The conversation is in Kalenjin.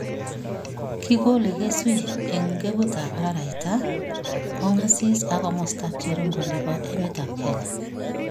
kigolei kasyu eng' ngeguutap araraita, kong'asis ak komostap cherongo nebo emetap Kenya